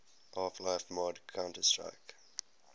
half life mod counter strike